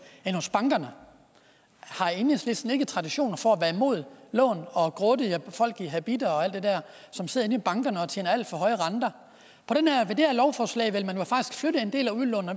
end hos bankerne har enhedslisten ikke tradition for at være imod lån og grådige folk i habitter og alt det der som sidder inde i bankerne og tjener alt for høje renter med det her lovforslag vil